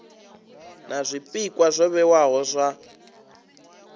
na zwpikwa zwo vhewaho zwa